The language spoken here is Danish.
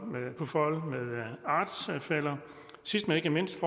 med artsfæller sidst men ikke mindst